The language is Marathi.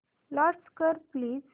लॉंच कर प्लीज